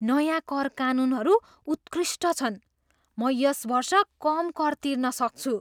नयाँ कर कानुनहरू उत्कृष्ट छन्! म यस वर्ष कम कर तिर्न सक्छु!